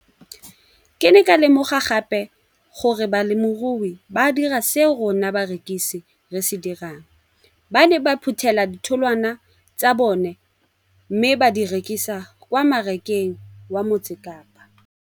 Ke ne ka lemoga gape gore balemirui ba dira seo rona barekisi re se dirang - ba ne ba phuthela ditholwana tsa bona mme ba di rekisa kwa marakeng wa Motsekapa.